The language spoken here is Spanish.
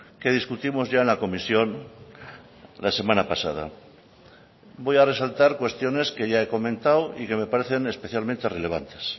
que discutimos ya en la comisión la semana pasada voy a resaltar cuestiones que ya he comentado y que me parecen especialmente relevantes